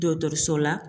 Dɔgɔtɔrɔso la